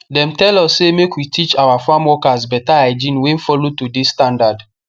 dem tell us say make we teach our farm workers better hygiene wey follow today standard